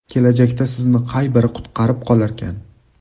Kelajakda sizni qay biri qutqarib qolarkan?